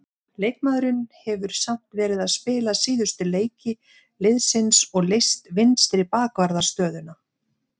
Leikmaðurinn hefur samt verið að spila síðustu leiki liðsins og leyst vinstri bakvarðarstöðuna.